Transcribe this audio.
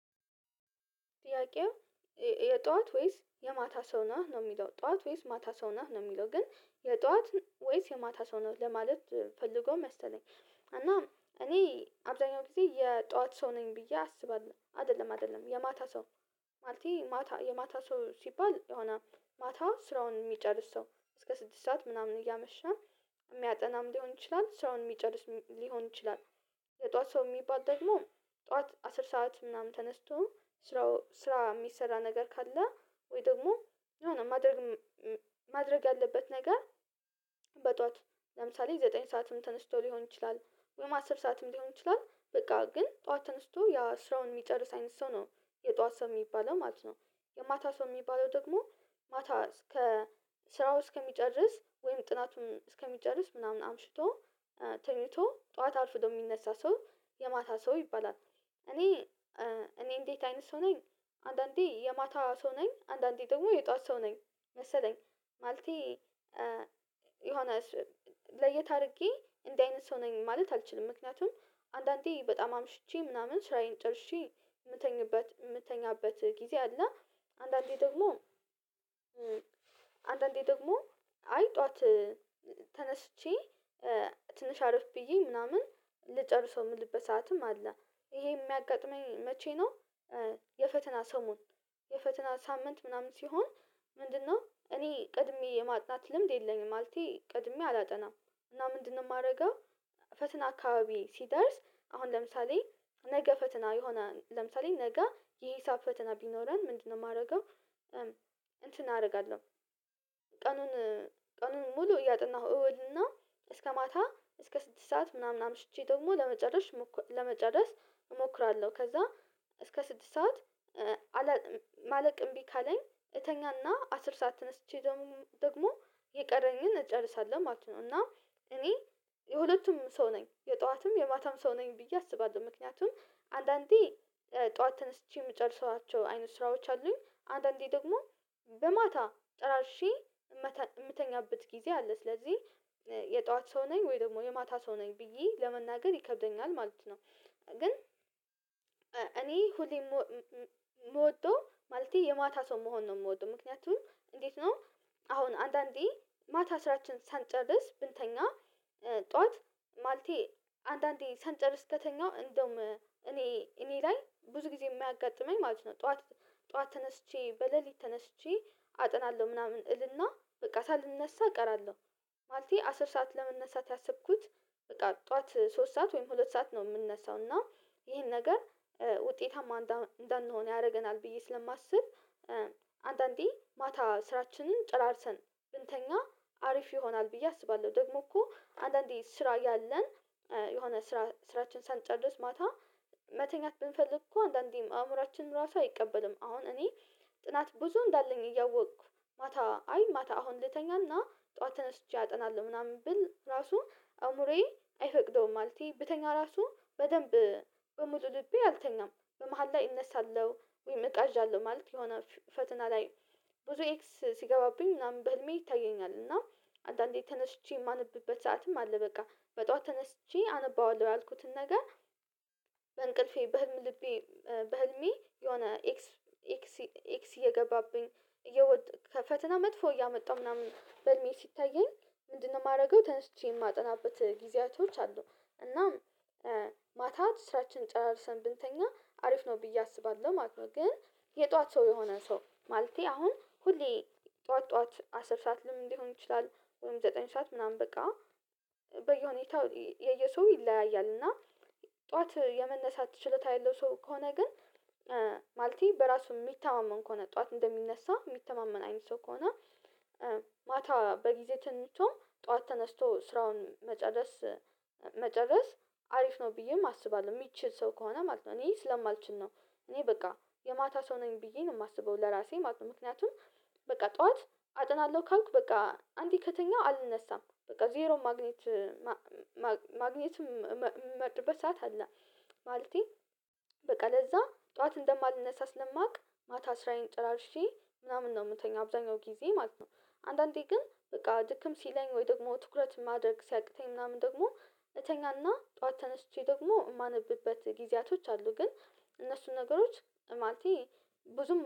ጥያቄው የጧት ወይስ የማታ ሰው ነህ? ነው የሚለው ጧት ወይስ ማታ ሰው ነህ? ነው የሚለው ግን የጧት ወይስ የማታ ሰው ነው ለማለት ፈልጎ መሰለኝ። እና እኔ አብዛኛው ጊዜ የጧት ሰው ነኝ ብዬ አስባለሁ አይደለም አይደለም የማታ ሰው ማለቴ ማታ የማታ ሰው ሲባል የሆነ ማታ ስራውን የሚጨርስ ሰው እስከ ስድስት ሰዓት ምናምን እያመሸን የሚያጠናም ሊሆን ይችላል ስራውን የሚጨርስ ሊሆን ይችላል። የጧት ሰው የሚባል ደግሞ ጧት አስር ሰዓት ምናምን ተነስቶ ስራው ስራ የሚሰራ ነገር ካለ ወይ ደግሞ የሆነ ማድረግ ማድረግ ያለበት ነገር በጧት ለምሳሌ ዘጠኝ ሰዓትም ተነስቶ ሊሆን ይችላል ሆኖም አስር ሰዓትም ሊሆን ይችላል በቃ ግን ጠዋት ተነስቶ ያ ስራውን የሚጨርስ አይነት ሰው ነው የጠዋት ሰው የሚባለው ማለት ነው። የማታ ሰው የሚባለው ደግሞ ማታ እስከ ስራው እስከሚጨርስ ወይም ጥናቱን እስከሚጨርስ ምናምን አምሽቶ ተኝቶ ጠዋት አርፍዶ የሚነሳ ሰው የማታ ሰው ይባላል። እኔ እኔ እንዴት አይነት ሰው ነኝ አንድአንዴ የማታ ሰው ነኝ አንድአንዴ ደግሞ የጧት ሰው ነኝ መሰለኝ ማለቴ የሆነ ለየት አድርጌ እንደዚህ አይነት ሰው ነኝ ማለት አልችልም። ምክንያቱም አንድአንዴ በጣም አምሽቼ ምናምን ስራዬን ጨርሼ የምተኛበት የምተኛበት ጊዜ አለ። አንድአንዴ ደግሞ አንድአንዴ ደግሞ አይ ጠዋት ተነስቼ ትንሽ አረፍ ብዬ ምናምን ልጨርሰው የምልበት ሰዓትም አለ። ይሄ የሚያጋጥመኝ መቼ ነው የፈተና ሰሞን የፈተና ሳምንት ምናምን ሲሆን ምንድነው እኔ ቀድሜ የማጥናት ልምድ የለኝም ማለቴ ቀድሜ አላጠናም። እና ምንድነው የማደርገው ፈተና አካባቢ ሲደርስ አሁን ለምሳሌ ነገ ፈተና የሆነ ለምሳሌ ነገ የሂሳብ ፈተና ቢኖረን ምንድነው የማደርገው እንትን አደርጋለሁ ቀኑን ቀኑን ሙሉ እያጠናሁ እውልና እስከ ማታ እስከ ስድስት ሰዓት ምናምን አምሽቼ ደግሞ ለመጨረስ ለመጨረስ እሞክራለሁ ከዛ እስከ ስድስት ሰዓት ማለቅ እምቢ ካለኝ እተኛና አስር ሰዓት ተነስቼ ደግሞ ደግሞ የቀረኝን እጨርሳለሁ ማለት ነው። እና እኔ የሁለቱም ሰው ነኝ። የጠዋትም የማታም ሰው ነኝ ብዬ አስባለሁ። ምክንያቱም አንድአንዴ ጠዋት ተነስቼ የምጨርሳቸው አይነት ስራዎች አሉኝ። አንድአንዴ ደግሞ በማታ ጨራርሼ የምተኛበት ጊዜ አለ። ስለዚህ የጧት ሰው ነኝ ወይ ደግሞ የማታ ሰው ነኝ ብዬ ለመናገር ይከብደኛል ማለት ነው። ግን እኔ ሁሌ የምወደው ማለቴ የማታ ሰው መሆን ነው የምወደው። ምክንያቱም እንዴት ነው አሁን አንድአንዴ ማታ ስራችንን ሳንጨርስ ብንተኛ ጠዋት ማለቴ አንድአንዴ ሳንጨርስ ከተኛው እንደውም እኔ እኔ ላይ ብዙ ጊዜ የሚያጋጥመኝ ማለት ነው ጠዋት ጠዋት ተነስቼ በሌሊት ተነስቼ አጠናለሁ ምናምን እልና በቃ ሳልነሳ እቀራለሁ። ማለቴ አስር ሰዓት ለመነሳት ያሰብኩት በቃ ጠዋት ሶስት ሰዓት ወይም ሁለት ሰዓት ነው የምነሳው። እና ይሄን ነገር ውጤታማ እንዳንሆን ያደርገናል ብዬ ስለማስብ አንድአንዴ ማታ ስራችንን ጨራርሰን ብንተኛ አሪፍ ይሆናል ብዬ አስባለሁ። ደግሞ እኮ አንድአንዴ ስራ እያለን የሆነ ስራ ስራችንን ሳንጨርስ ማታ መተኛት ብንፈልግ እኮ አንድአንዴም አእምሮአችን ራሱ አይቀበልም። አሁን እኔ ጥናት ብዙ እንዳለኝ እያወቅኩ ማታ አይ ማታ አሁን ልተኛና ጠዋት ተነስቼ አጠናለሁ ምናምን ብል ራሱ አእምሮዬ አይፈቅደውም። ማለቴ ብተኛ ራሱ በደንብ በሙሉ ልቤ አልተኛም። በመሃል ላይ እነሳለሁ፣ ወይ እቃዣለሁ ማለት የሆነ ፈተና ላይ ብዙ ኤክስ ሲገባብኝ ምናምን በህልሜ ይታየኛል። እና አንድአንዴ ተነስቼ የማነብበት ሰዓትም አለ በቃ። በጧ ተነስቼ አነባዋለሁ ያልኩትን ነገር በእንቅልፌ በህልም ልቤ በህልሜ የሆነ ኤክስ ኤክስ ኤክስ እየገባብኝ እየወጥ ከፈተና መጥፎ እያመጣሁ ምናምን በህልሜ ሲታየኝ ምንድነው የማደርገው ተነስቼ የማጠናበት ጊዜያቶች አሉ። እናም ማታ ስራችንን ጨራርሰን ብንተኛ አሪፍ ነው ብዬ አስባለሁ ማለት ነው። ግን የጧት ሰው የሆነ ሰው ማለቴ አሁን ሁሌ ጧት ጧት አስር ሰዓት ለምን ሊሆን ይችላል ወይም ዘጠኝ ሰዓት ምናምን በቃ በየሁኔታው የየሰው ይለያያል እና ጠዋት የመነሳት ችሎታ ያለው ሰው ከሆነ ግን ማለቴ በራሱ የሚተማመን ከሆነ ጠዋት እንደሚነሳ የሚተማመን አይነት ሰው ከሆነ ማታ በጊዜ ተኝቶ ጠዋት ተነስቶ ስራውን መጨረስ አሪፍ ነው ብዬም አስባለሁ የሚችል ሰው ከሆነ ማለት ነው። እኔ ስለማልችል ነው። እኔ በቃ የማታ ሰው ነኝ ብዬ ነው የማስበው ለራሴ ማለት ነው። ምክንያቱም በቃ ጠዋት አጠናለሁ ካልኩ በቃ አንድ ከተኛሁ አልነሳም በቃ ዜሮ ማግኘት ማግኘት የምመርጥበት በሰአት አለ። ማለቴ በቃ ለዛ ጠዋት እንደማልነሳ ስለማውቅ ማታ ስራዬን ጨራርሼ ምናምን ነው የምተኛው አብዛኛው ጊዜ ማለት ነው። አንድአንዴ ግን በቃ ድክም ሲለኝ ወይ ደግሞ ትኩረት ማድረግ ሲያቅተኝ ምናምን ደግሞ እተኛና ጠዋት ተነስቼ ደግሞ የማነብበት ጊዜያቶች አሉ። ግን እነሱን ነገሮች ማለቴ ብዙም